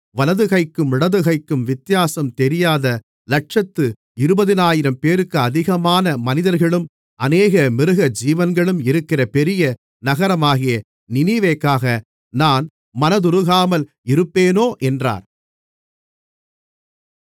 வலதுகைக்கும் இடதுகைக்கும் வித்தியாசம் தெரியாத இலட்சத்து இருபதினாயிரம்பேருக்கு அதிகமான மனிதர்களும் அநேக மிருகஜீவன்களும் இருக்கிற பெரிய நகரமாகிய நினிவேக்காக நான் மனதுருகாமல் இருப்பேனோ என்றார்